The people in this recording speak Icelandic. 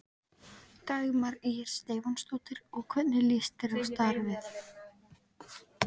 Dagmar Ýr Stefánsdóttir: Og hvernig líst þér á starfið?